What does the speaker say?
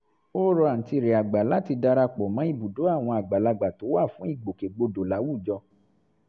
ó rọ àǹtí rẹ̀ àgbà láti dara pọ̀ mọ́ ibùdó àwọn àgbàlagbà tó wà fún ìgbòkègbodò láwùjọ